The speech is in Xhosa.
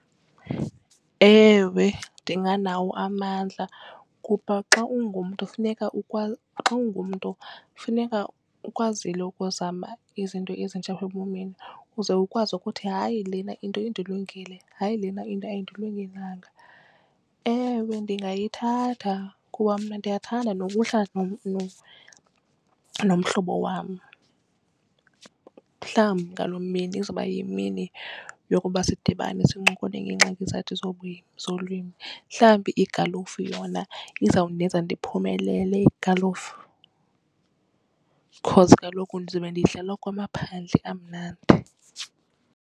Ewe ndinganawo amandla kuba xa ungumntu funeka ukwazile ukuzama izinto ezintsha apha ebomini uze ukwazi ukuthi hayi lena into indilungele hayi lena into ayindilungelanga. Ewe ndingayithatha kuba mna ndiyathanda nokuhlala nomhlobo wam. Mhlawumbi ngaloo mini izawuba yimini yokuba sidibane sincokole ngeengxaki zethu zolwimi. Mhlawumbi igalufu yona izawundenza ndiphumelele igalufu because kaloku ndizobe ndiyidlala kwamaphandle kamnandi.